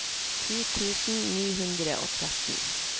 ti tusen ni hundre og tretten